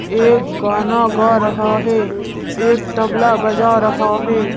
एक गाना गा रहा है एक तबला बजा रहा है।